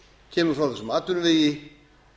kemur frá þessum atvinnuvegi